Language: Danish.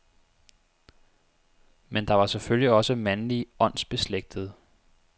Men der var selvfølgelig også mandlige åndsbeslægtede.